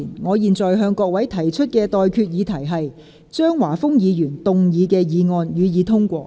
我現在向各位提出的待決議題是：張華峰議員動議的議案，予以通過。